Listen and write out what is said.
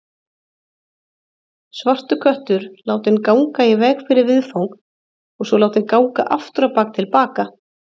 Svartur köttur látinn ganga í veg fyrir viðfang og svo látinn ganga afturábak til baka.